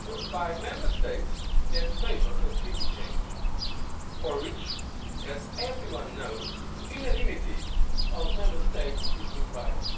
by Member States that favour a treaty change, for which, as everyone knows, the unanimity of Member States is required.